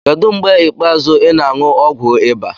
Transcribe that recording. Kedu mgbe ikpeazụ ị na-aṅụ ọgwụ ịba?